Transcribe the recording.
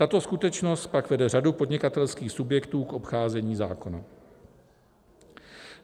Tato skutečnost pak vede řadu podnikatelských subjektů k obcházení zákona.